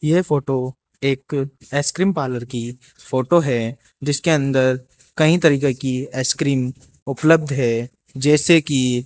यह फोटो एक ice cream parlour की फोटो है जिसके अंदर कई तरीके की आइसक्रीम उपलब्ध है जैसे की --